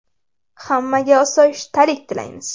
Hammaga osoyishtalik tilaymiz.